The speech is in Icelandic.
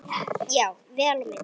Já, vel á minnst.